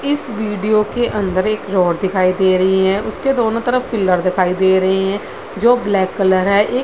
इस वीडियो के अंदर एक रड उस के दोनों तरफ पिलर दिखाई दे रही है जो ब्लैक कलर है एक --